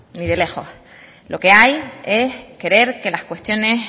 ni de lejos lo que hay es querer que las cuestiones